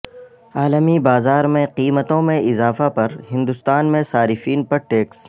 عالمی بازار میں قیمتوں میں اضافہ پر ہندوستان میں صارفین پر ٹیکس